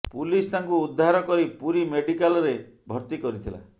police ତାଙ୍କୁ ଉଦ୍ଧାର କରି ପୁରୀ ମେଡିକାଲ୍ରେ ଭର୍ତ୍ତି କରିଥିଲା